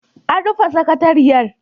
An rufe sakatariyar.